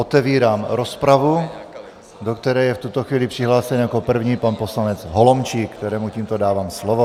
Otevírám rozpravu, do které je v tuto chvíli přihlášen jako první pan poslanec Holomčík, kterému tímto dávám slovo.